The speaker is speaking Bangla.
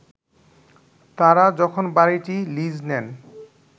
তারা যখন বাড়িটি লিজ নেন